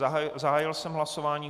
Zahájil jsem hlasování.